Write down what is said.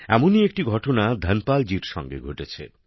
এমনই একটি ঘটনা ধনপাল জির সঙ্গে ঘটেছে